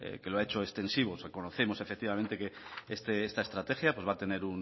que lo he hecho extensivo conocemos efectivamente que esta estrategia va a tener